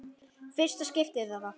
Fyrsta skiptið eða?